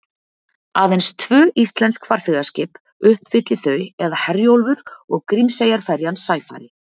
Aðeins tvö íslensk farþegaskip uppfylli þau eða Herjólfur og Grímseyjarferjan Sæfari.